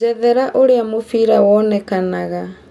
njerethera ũrĩa mũbira wonekananga